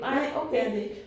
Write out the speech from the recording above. Nej det er det ikke